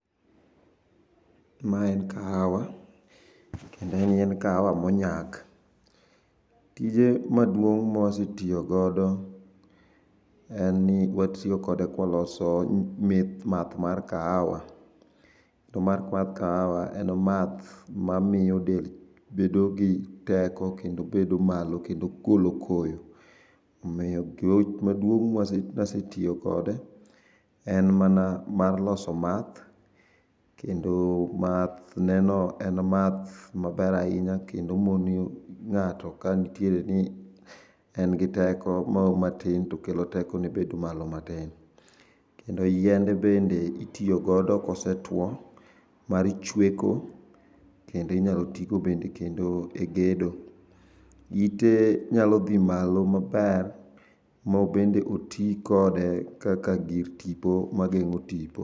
Ma en kahawa, kendo en yiend kahawa monyak. Tije maduong' mawasetio godo, enni watiokode kwaloso mith math mar kaawa. To math mar kaawa en math mamio del bedo gi teko kendo bedo malo kendo golo koyo. Omio gi gima duong' mwas masetio kode en manamar loso math, kendo mathneno en math maber ahinya kendo moni ng'ato kanitiere ni engi teko moro matin to kelo teko bedo malo matin. Kendo yiende bende itio kode kose two mar chweko kendo inyalo tigodo bende kendo e gedo. Ite nyalo dhi malo maber mobede otii kode kaka gir tipo mageng'o tipo.